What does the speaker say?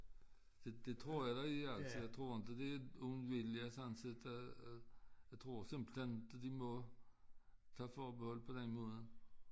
Det det tror jeg der er altså jeg tror inte det er ond vilje sådan set øh jeg tror simpelthen de må tage forbehold på den måde